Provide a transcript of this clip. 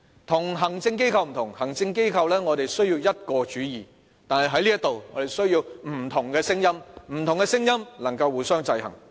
與行政機構不同，行政機構需要一個主意，但在這裏，我們需要不同的聲音，不同的聲音能夠互相制衡。